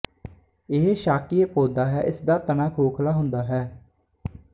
ਇਹ ਸ਼ਾਕੀਏ ਪੌਧਾ ਹੈ ਜਿਸਦਾ ਤਣਾ ਖੋਖਲਾ ਹੁੰਦਾ ਹੈ